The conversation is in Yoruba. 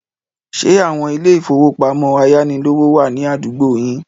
Ṣé àwon ilé-ìfowópamọ́ ayánilówó wà ní àdúgbò yín?